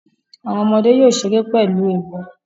Awọn ọmọde yoo ṣere pẹlu ẹbọ